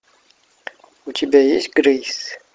у тебя есть грейс